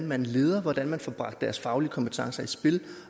man leder hvordan man får bragt deres faglige kompetencer i spil